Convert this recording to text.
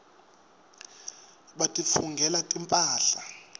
batitfungela timphahla